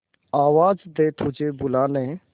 आवाज दे तुझे बुलाने